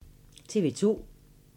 TV 2